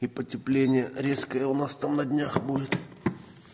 и потепление резкое алмаз там на днях будет